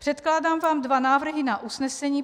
Předkládám vám dva návrhy na usnesení.